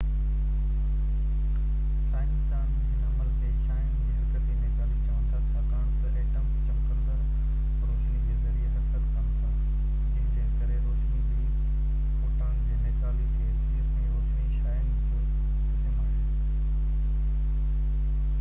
سائنسدان هن عمل کي شعاعن جي حرڪتي نيڪالي چون ٿا ڇاڪاڻ تہ ايٽمس چمڪندڙ روشني جي ذريعي حرڪت ڪن ٿا جنهن جي ڪري روشني جي فوٽان جي نيڪالي ٿئي ٿي ۽ روشني شعاعن جو قسم آهي